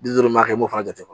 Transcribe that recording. Di duuru maa kɛ i b'o fana jate